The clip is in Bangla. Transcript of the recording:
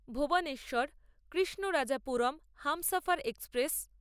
ভূবনেশ্বর কৃষ্ণরাজাপুরম হামসফর এক্সপ্রেস